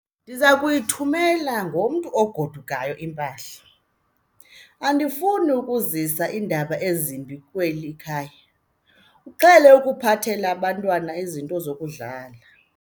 Ndiza kuyithumela ngomntu ogodukayo impahla. andifuni ukuzisa iindaba ezimbi kweli khaya, uqhele ukuphathela abantwana izinto zokudlala